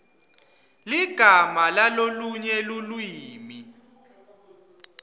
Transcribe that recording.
ligama lalolunye lulwimi